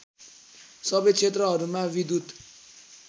सबै क्षेत्रहरूमा विद्युत